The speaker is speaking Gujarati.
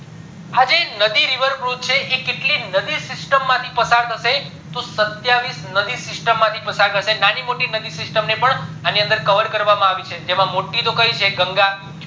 આ જે નદી river cruise છે એ કેટલી નદી system માંથી પસાર થશે તો સત્યાવીશ નદી system થી પાદર થશે નાની મોટી નદી system ને પણ અણી અંદર cover કરવામાં આવી છે મોટી તો કય છે ગંગા